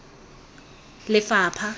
lefapha